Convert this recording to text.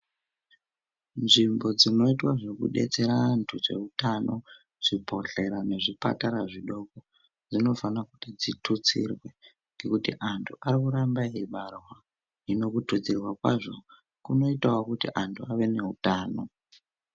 Nzvimbo dzinoitwa zvekudetsera antu zvibhedhleya nezvipatara zvidoko zvinofana kuti zvitutsirwe ngekuti antu arikuramba eibarwa hino kututsirwa kwazvo kunoitawo kuti antu ave neutano.